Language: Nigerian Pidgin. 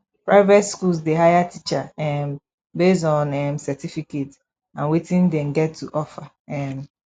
private schools dey hire teachers um based on um certificate and wetin dem get to offer um